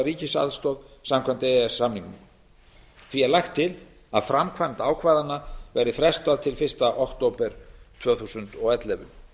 ríkisaðstoð samkvæmt e e s samningnum því er lagt til að framkvæmd ákvæðanna verði frestað til fyrsta október tvö þúsund og ellefu